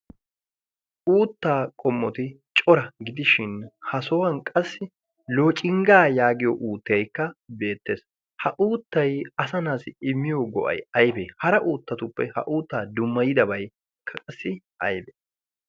Uutta qommotti cora gidishin ha sohuwaani qassi loocingga yaagiyo uuttaykka beettes, ha uuttay asa naatussi immiyoo go"ay aybe? hara uuttatuppe ha uutta dummayidabay aybe?